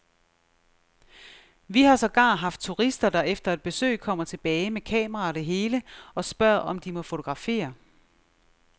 Vi har sågar haft turister, der efter et besøg kommer tilbage med kamera og det hele og spørger, om de må fotografere.